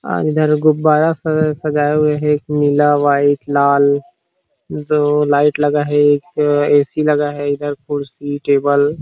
इधर गुब्बारा सजाया हुआ है नीला वाइट लाल दो लाइट लगा है एक ए सी लगा है कुर्सी टेबल --